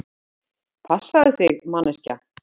Passaðu þig manneskja!!